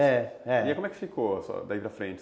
É, é. E aí como é que ficou daí para frente?